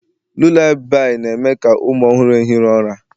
lullabi na-eme ka ụmụ ọhụrụ ehiri ụra